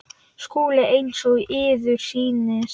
SKÚLI: Eins og yður sýnist.